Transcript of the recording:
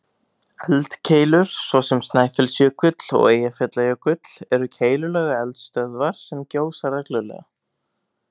Eldkeilur, svo sem Snæfellsjökull og Eyjafjallajökull, eru keilulaga eldstöðvar sem gjósa reglulega.